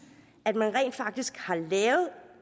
at man rent faktisk har lavet